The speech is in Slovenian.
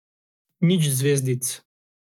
Nič zvezdic.